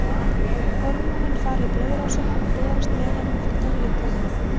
Hormónin fara í blóðrásina og berast með henni um allan líkamann.